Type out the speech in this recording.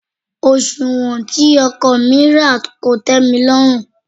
Òsùwọ́n tí ọkọ̀ mi rà kò tẹ́milọ́rùn.